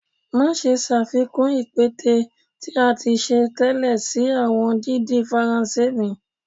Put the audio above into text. Maṣe ṣafikun ipẹtẹ ti a ti ṣe tẹlẹ si awọn didin Faranse mi.